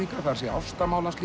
ástarmál hans